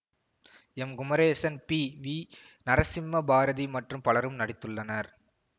M Kumaresan P V Narasimha Bharathi மற்றும் பலரும் நடித்துள்ளனர்